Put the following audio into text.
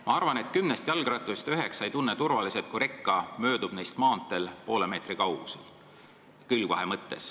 Ma arvan, et kümnest jalgratturist üheksa ei tunne end turvaliselt, kui reka möödub neist maanteel poole meetri kauguselt.